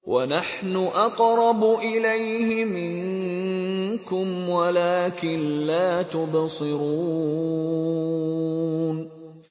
وَنَحْنُ أَقْرَبُ إِلَيْهِ مِنكُمْ وَلَٰكِن لَّا تُبْصِرُونَ